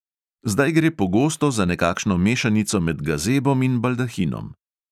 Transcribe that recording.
Zdaj gre pogosto za nekakšno mešanico med gazebom in baldahinom.